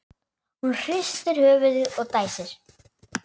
Hún hristir höfuðið og dæsir.